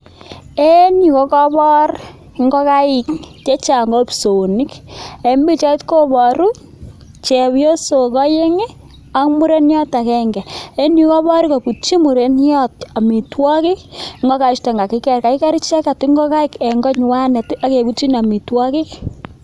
En yu kokabor ngokaik chechang' o psoonik. En picahit koboru chepyosok oeng' ak mureniot agenge ,en yu kokabor kobutyin mureniot amitwogik ngokaik chuton kakiker, kakiker icheket ngokaik en konywanet akebutyin amitwogik.